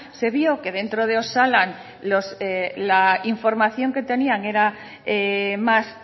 se vio que dentro de osalan la información que tenían era más